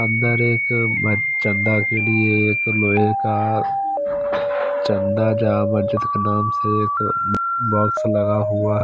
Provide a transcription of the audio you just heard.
अंदर एक चंदा के लिए एक लोहे का चंदा जा मस्जिद के नाम से एक बॉक्स लगा हुआ--